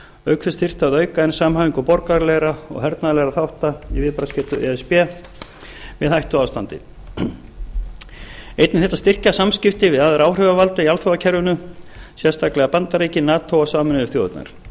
auk þess þyrfti að auka enn samhæfingu borgaralegra og hernaðarlegra þátta í viðbragðsgetu e s b við hættuástandi einnig þyrfti að styrkja samstarfið við aðra áhrifavalda í alþjóðakerfinu sérstaklega bandaríkin nato og sameinuðu þjóðirnar